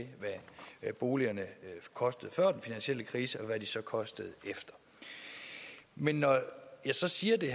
hvad boligerne kostede før den finansielle krise og hvad de så koster efter men når jeg så siger det